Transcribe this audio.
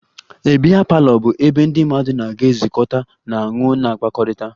A biya parlour bụ ebe ndị mmadụ ga-ezukọta na-aṅụ na-akpakọrịta